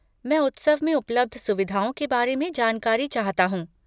मैं उत्सव में उपलब्ध सुविधाओं के बारे में जानकारी चाहता हूँ।